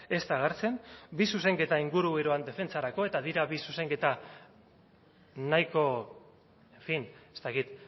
ez da agertzen bi zuzenketa inguru eroan defentsarako eta dira bi zuzenketa nahiko en fin ez dakit